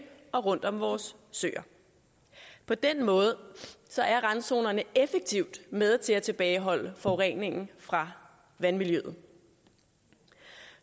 og rundt om vores søer på den måde er randzonerne effektivt med til at tilbageholde forureningen fra vandmiljøet